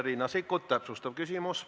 Riina Sikkut, täpsustav küsimus.